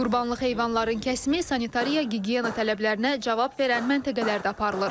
Qurbanlıq heyvanların kəsimi sanitariya, gigiyena tələblərinə cavab verən məntəqələrdə aparılır.